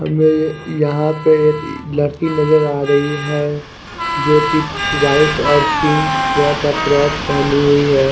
हमे यहा पे एक लडकी नजर आ रही है जो की वाइट और पिंक कलर क फ्रोक पहनी हुई है।